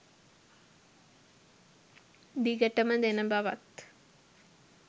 දිගටම දෙන බවත්